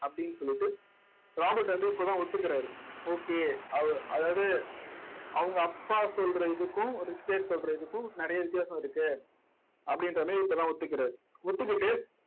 அப்பிடின்னு சொல்லிட்டு ராபர்ட் வந்து இப்பதான் ஒத்துக்குறாரு okay அதாவது அவங்க அப்பா சொல்ற இதுக்கும் சொல்ற இதுக்கும் நிறைய வித்தியாசம் இருக்கு அப்படின்ற மாதிரி இப்பதான் ஒத்துக்குறாரு ஒத்துக்கிட்டு